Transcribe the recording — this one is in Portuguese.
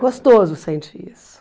Gostoso sentir isso.